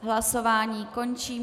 Hlasování končím.